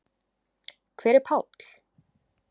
Hver er Páll?